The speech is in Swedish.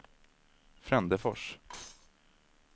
Frändefors